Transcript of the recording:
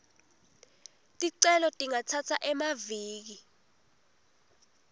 ticelo tingatsatsa emaviki